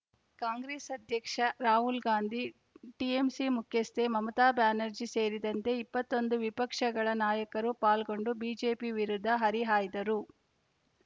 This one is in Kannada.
ಕಾಂಗ್ರೆಸ್‌ ಅಧ್ಯಕ್ಷ ರಾಹುಲ್‌ ಗಾಂಧಿ ಟಿಎಂಸಿ ಮುಖ್ಯಸ್ಥೆ ಮಮತಾ ಬ್ಯಾನರ್ಜಿ ಸೇರಿದಂತೆ ಇಪ್ಪತೋಂದು ವಿಪಕ್ಷಗಳ ನಾಯಕರು ಪಾಲ್ಗೊಂಡು ಬಿಜೆಪಿ ವಿರುದ್ಧ ಹರಿಹಾಯ್ದರು